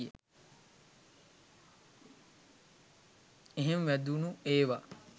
එහෙම වැදුණු ඒවා